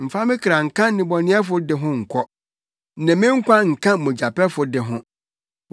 Mfa me kra nka nnebɔneyɛfo de ho nkɔ, ne me nkwa nka mogyapɛfo de ho,